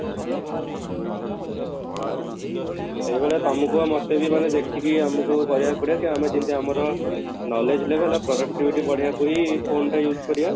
ହଁ, ସେଇ ଭଳିଆ ତମକୁ ଆଉ ମୋତେ ବି ମାନେ ଦେଖିକି ଆମକୁ କରିବାକୁ ପଡିବ କି ଆମେ ଯେମିତି ଆମର knowledge ନେବେ productivity ବଢେଇବାକୁ ହିଁ phone ଟା use କରିବା